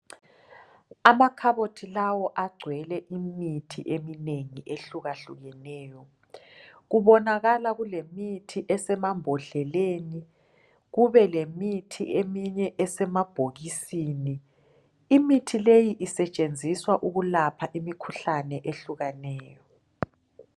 Amakhabothi lawo agcwele imithi eminengi ehlukahlukeneyo kubonakala kulemithi esemambodleleni kube lemithi eminye esemabhokisini imithi leyi isetshenziswa ukulapha imikhuhlane ehlukeneyo.